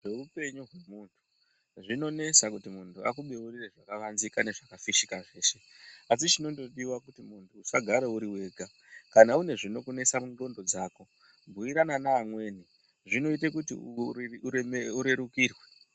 Zveupenyu hwemunhu zvinonetsa kuti munthu akubeurire zvakavanzika nezvakafishika zveshe asi chinondodiwa kuti munthu usagara uri wega. Kana une zvinokunesa mundxondo dzako bhuyirana neamweni zvinoite kuti urerukirwe.